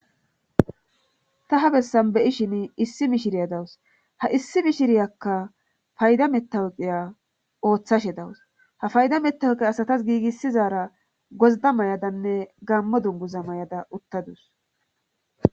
ta ha bessan beyishin issi mishiriya dawus ha issi mishiriyakka fayda mettawoqiya ooththashe dawus ha fayda mettawuqe asatas giigissizaara gozda mayadanne gammo dunguza may7ada uttadus